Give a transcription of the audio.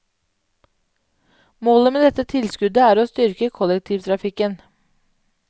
Målet med dette tilskuddet er å styrke kollektivtrafikken.